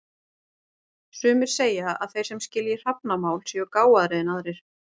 Sumir segja að þeir sem skilji hrafnamál séu gáfaðri en aðrir.